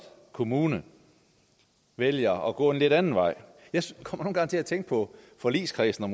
kommune vælger at gå en lidt anden vej jeg kommer gange til at tænke på forligskredsen og